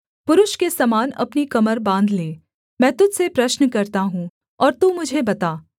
पुरुष के समान अपनी कमर बाँध ले मैं तुझ से प्रश्न करता हूँ और तू मुझे बता